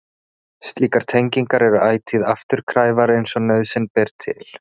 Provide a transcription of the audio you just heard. Slíkar tengingar eru ætíð afturkræfar eins og nauðsyn ber til.